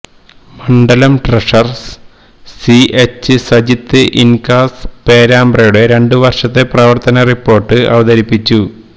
മണ്ഡലം treasurer C H Sajith INKAS പേരാബ്രയുടെ രണ്ട് വർഷത്തെ പ്രവർത്തന റിപ്പോർട്ട് അവതരിപ്പിച്ചു